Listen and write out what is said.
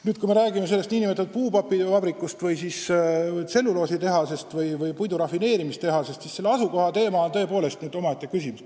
Nüüd, kui me räägime sellest nn papivabrikust või tselluloositehasest või puidurafineerimistehasest, siis selle asukoht on tõepoolest omaette küsimus.